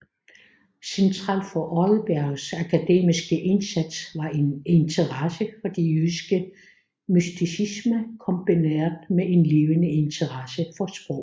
Centralt for Odebergs akademiske indsats var en interesse for den jødiske mysticisme kombineret med en levende interesse for sprog